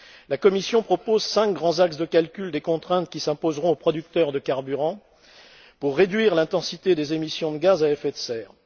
La Commission propose cinq grands axes de calcul des contraintes qui s'imposeront aux producteurs de carburants pour réduire l'intensité des émissions de gaz à effet de serre.